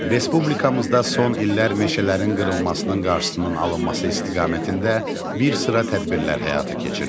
Respublikamızda son illər meşələrin qırılmasının qarşısının alınması istiqamətində bir sıra tədbirlər həyata keçirilir.